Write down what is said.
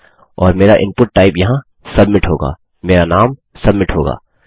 और मेरा input type यहाँ सबमिट होगामेरा नाम सबमिट होगा